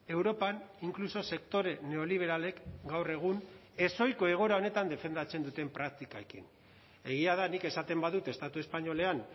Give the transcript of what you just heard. europan inkluso sektore neoliberalek gaur egun ezohiko egoera honetan defendatzen duten praktikekin egia da nik esaten badut estatu espainolean